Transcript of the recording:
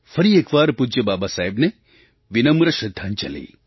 ફરી એક વાર પૂજ્ય બાબાસાહેબને વિનમ્ર શ્રદ્ધાંજલિ